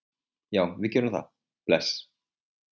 Já, við gerum það. Bless.